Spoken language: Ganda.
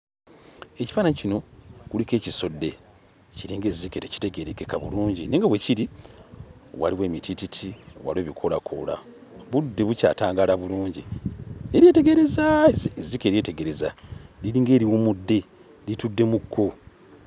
Ekifaananyi kino kuliko ekisodde, kiringa ezzike tekitegeerekeka bulungi naye nga we kiri waliwo emitiititi, waliwo ebikoolakoola, budde bukyatangaala bulungi. Ne lyetegereza ezzike lyetegereza, liringa eriwummudde, litudde mu kkubo.